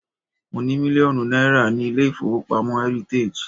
Mo ní mílíọ̀nù náírà ní ilé-ìfowópamọ́ heritage.